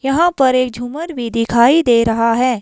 यहां पर एक झूमर भी दिखाई दे रहा है।